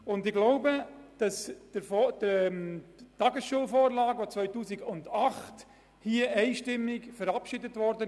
Die Tagesschulvorlage aus dem Jahr 2008 ist vom Grossen Rat einstimmig verabschiedet worden.